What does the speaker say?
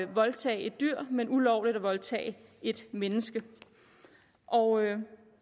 voldtage et dyr men ulovligt at voldtage et menneske og